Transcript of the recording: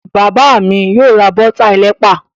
Bàbá mi yóò ra bọ́tà ẹlẹ́pà.